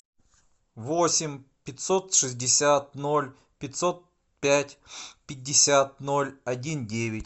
восемь пятьсот шестьдесят ноль пятьсот пять пятьдесят ноль один девять